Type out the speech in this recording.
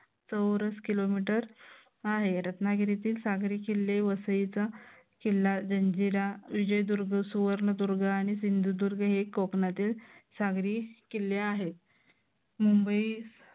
चौरस किलोमीटर आहे. रत्नागिरीतील सागरी किल्ले वसईचा किल्ला जंजिरा विजयदुर्ग सुवर्णदुर्ग आणि सिंधुदुर्ग हे कोकणातील सागरी किल्ले आहेत. मुंबई